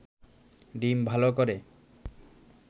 ডিম ভালো করে